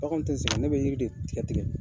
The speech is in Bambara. Baganw tɛ sɛgɛn ne bɛ yiri de tigɛ tigɛ